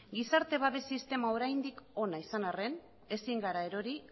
gizarte babes sistema oraindik ona izan arren ezin gara erori